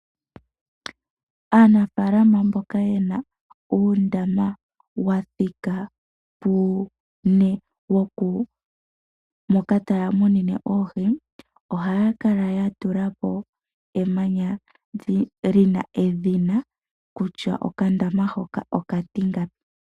Aanafaalama mboka ye na uundama wa wathika pu une moka taya munine mo oohi ohaya kala ya tula po emanya li na edhina kutya okandama hano okatingapi.